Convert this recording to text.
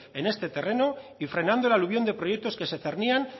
en este terreno y frenando el aluvión de proyectos que se cernían